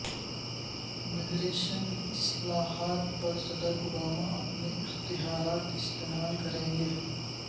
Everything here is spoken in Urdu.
امیگریشن اصلاحات پر صدر اوباما اپنے اختیارات استعمال کریں گے